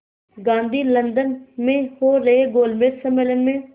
Gandhi London में हो रहे गोलमेज़ सम्मेलन में